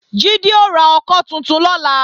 Jídé ó ra ọkọ́ tuntun lọ́la